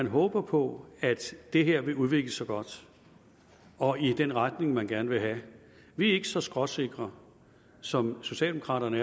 håbe på at det her vil udvikle sig godt og i den retning man gerne vil have vi er ikke så skråsikre som socialdemokraterne